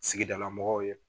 Sigidala mɔgɔw ye.